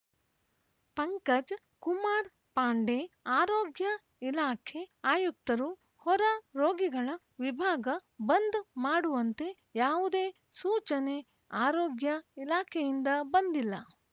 ಪಂಕಜ್‌ ಕುಮಾರ್‌ ಪಾಂಡೆ ಆರೋಗ್ಯ ಇಲಾಖೆ ಆಯುಕ್ತರು ಹೊರ ರೋಗಿಗಳ ವಿಭಾಗ ಬಂದ್‌ ಮಾಡುವಂತೆ ಯಾವುದೇ ಸೂಚನೆ ಆರೋಗ್ಯ ಇಲಾಖೆಯಿಂದ ಬಂದಿಲ್ಲ